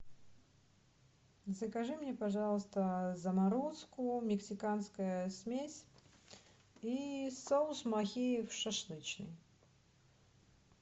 закажи мне пожалуйста заморозку мексиканская смесь и соус махеев шашлычный